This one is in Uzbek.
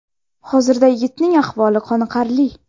Hozirda yigitning ahvoli qoniqarli.